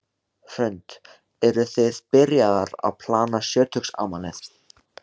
Hrund: Eruð þið byrjaðar að plana sjötugsafmælið?